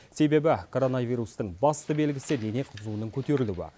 себебі коронавирустың басты белгісі дене қызуының көтерілуі